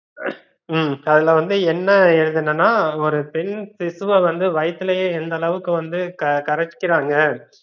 உம் அதுலவந்து என்ன எழுதுனேன்னா ஒரு பெண் சிசுவ வந்து வைதுலையே எந்தளவுக்கு வந்து கரைகறாங்க